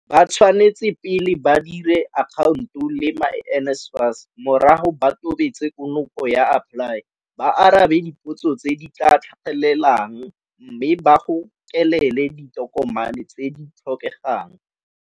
Ba tshwanetse pele ba dire akhaonto le myNSFAS, morago ba tobetse konopo ya AppLY, ba arabe dipotso tse di tla tlhagelelang mme ba gokelele ditokomane tse di tlhokegang.